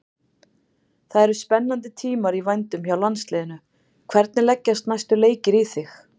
Það eru spennandi tímar í vændum hjá landsliðinu, hvernig leggjast næstu leikir í þig?